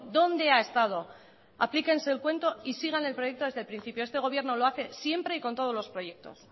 dónde ha estado aplíquense el cuento y sigan el proyecto desde el principio este gobierno lo hace siempre y con todos los proyectos